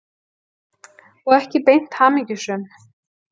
Og ekki beint hamingjusöm.